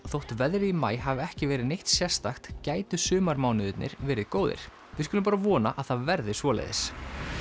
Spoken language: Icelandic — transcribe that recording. þótt veðrið í maí hafi ekki verið neitt sérstakt gætu sumarmánuðirnir verið góðir við skulum bara vona að það verði svoleiðis